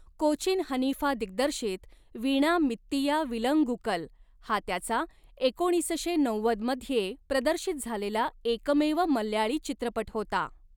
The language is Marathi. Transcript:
कोचीन हनीफा दिग्दर्शित 'वीणा मित्तिया विलंगुकल' हा त्याचा एकोणीसशे नव्वद मध्ये प्रदर्शित झालेला एकमेव मल्याळी चित्रपट होता.